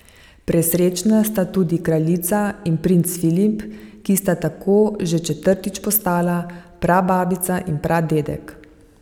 Presrečna sta tudi kraljica in princ Filip, ki sta tako še četrtič postala prababica in pradedek.